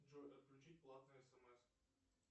джой отключить платные смс